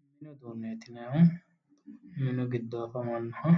Mini uduunneeti yinayihu miniha